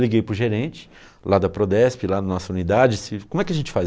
Liguei para o gerente, lá da Prodesp, lá da nossa unidade, se como é que a gente faz?